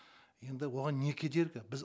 енді оған не кедергі біз